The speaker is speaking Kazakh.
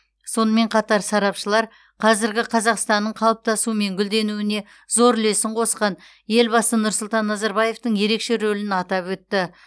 сонымен қатар сарапшылар қазіргі қазақстанның қалыптасуы мен гүлденуіне зор үлесін қосқан елбасы нұрсұлтан назарбаевтың ерекше рөлін атап өтті